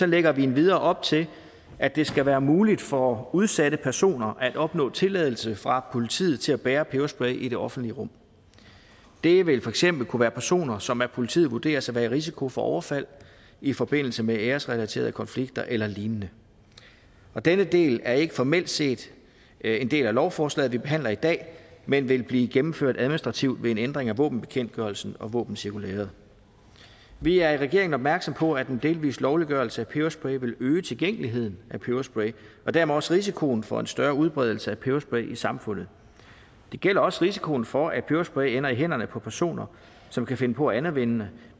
lægger vi endvidere op til at det skal være muligt for udsatte personer at opnå tilladelse fra politiet til at bære peberspray i det offentlige rum det vil for eksempel kunne være personer som af politiet vurderes at være i risiko for overfald i forbindelse med æresrelaterede konflikter eller lignende denne del er ikke formelt set en del af lovforslaget vi behandler i dag men vil blive gennemført administrativt ved en ændring af våbenbekendtgørelsen og våbencirkulæret vi er i regeringen opmærksomme på at en delvis lovliggørelse af peberspray vil øge tilgængeligheden af peberspray og dermed også risikoen for en større udbredelse af peberspray i samfundet det gælder også risikoen for at peberspray ender i hænderne på personer som kan finde på at anvende